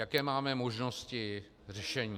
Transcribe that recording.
Jaké máme možnosti řešení?